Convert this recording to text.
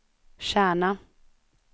Kärna